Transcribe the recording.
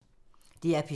DR P3